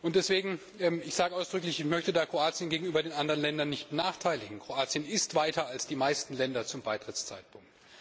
Deswegen sage ich ausdrücklich ich möchte Kroatien gegenüber den anderen Ländern nicht benachteiligen Kroatien ist weiter als die meisten Länder zum Beitrittszeitpunkt.